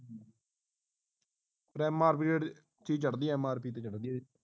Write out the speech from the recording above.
ਫੇਰ MRP rate ਚੀਜ਼ ਚੜਦੀ ਆ MRP ਤੇ ਚੜਦੀ ਹੈ